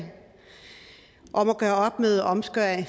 om at gøre op med omskæring